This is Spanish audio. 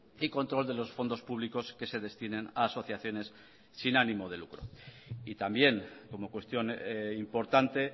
y control de los fondos públicos que se destinen a asociaciones sin ánimo de lucro y también como cuestión importante